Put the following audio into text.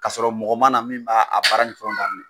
K' sɔrɔ mɔgɔ mana min b'a baara ni fɛnw daminɛ.